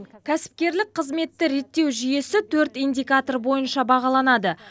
кәсіпкерлік қызметті реттеу жүйесі төрт индикатор бойынша бағаланады